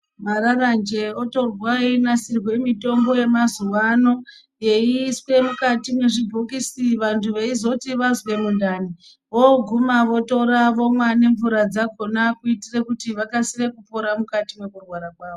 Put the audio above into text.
Mararanje otorwa einasirwe mitombo yemazuvaano eyiiswe mukati mezvibhokisi vantu veizoti vazwe mundani voguma votora vomwa ngemvura dzakona kuitire kuti vakasire kupona mukati mwekurwara kwavo.